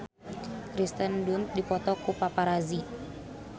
Kirsten Dunst dipoto ku paparazi